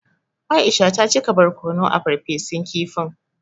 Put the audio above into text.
Aisha ta cika barkono a farfesun kifin.